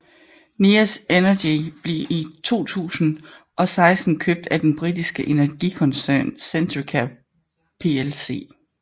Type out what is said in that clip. Neas Energy blev i 2016 købt af den britiske energikoncern Centrica Plc